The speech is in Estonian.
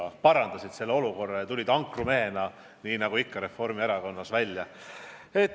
Aga sa parandasid selle olukorra ja astusid Reformierakonna ankrumehena ikkagi välja.